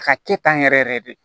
A ka kɛ tan yɛrɛ yɛrɛ de